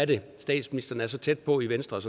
det er statsministeren er så tæt på i venstre og